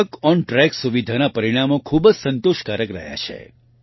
ટ્રકોન્ટ્રેક સુવિધાના પરિણામો ખૂબ જ સંતોષકારક રહ્યા છે